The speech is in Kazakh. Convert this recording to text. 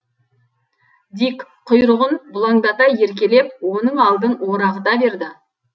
дик құйрығын бұлаңдата еркелеп оның алдын орағыта берді